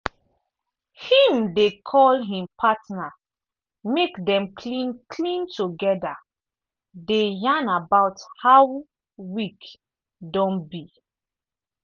him dey call him partner mek dem clean clean together dey yarn about how week don be.